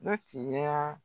Dɔ tigɛra